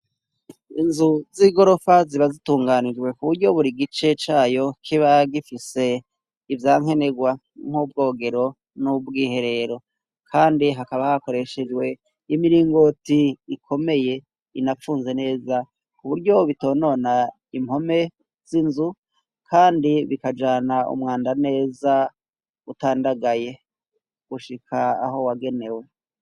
Inzu z'igorofa ziba zitunganijwe ku buryo buri gice cayo kiba gifise ivyankenerwa: nk'ubwogero n'ubw'iherero. Kandi hakaba hakoreshejwe imiringoti ikomeye inapfunze neza ku buryo bitonona impome z'inzu kandi bikajana umwanda neza utandagaye, gushika aho wagenewe.